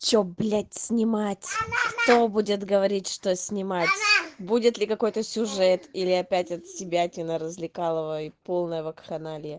что блять снимать кто будет говорить что снимать будет ли какой-то сюжет или опять отсебятина развлекалово и полная вакханалия